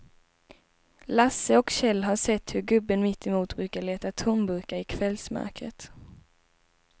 Lasse och Kjell har sett hur gubben mittemot brukar leta tomburkar i kvällsmörkret.